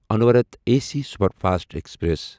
انووراٹھ A C superfast express